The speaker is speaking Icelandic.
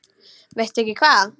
Veistu ekki hvað?